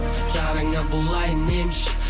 жараңа болайын емші